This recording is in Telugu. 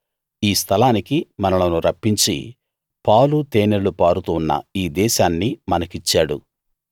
ఈ స్థలానికి మనలను రప్పించి పాలు తేనెలు పారుతూ ఉన్న ఈ దేశాన్ని మనకిచ్చాడు